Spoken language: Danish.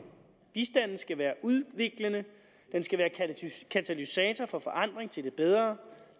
bistanden skal være udviklende den skal være katalysator for forandring til det bedre